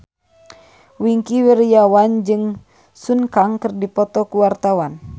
Wingky Wiryawan jeung Sun Kang keur dipoto ku wartawan